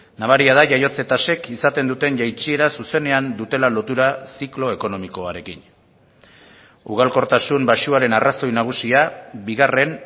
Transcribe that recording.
nabaria da jaiotze tasek izaten duten jaitsiera zuzenean dutela lotura ziklo ekonomikoarekin ugalkortasun baxuaren arrazoi nagusia bigarren